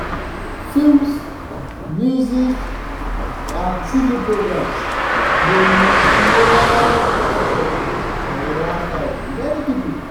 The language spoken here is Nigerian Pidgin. films music and tv programs dey influence culture and lifestyle of many people.